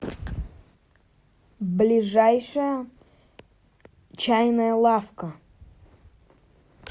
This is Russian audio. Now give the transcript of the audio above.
ближайшая чайная лавка